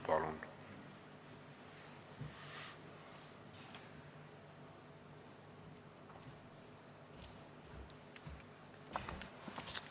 Palun!